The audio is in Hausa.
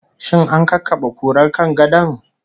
Shin an kakkabe kurar kan gadon?